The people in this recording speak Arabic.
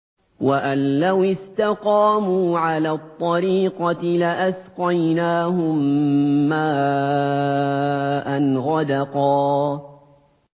وَأَن لَّوِ اسْتَقَامُوا عَلَى الطَّرِيقَةِ لَأَسْقَيْنَاهُم مَّاءً غَدَقًا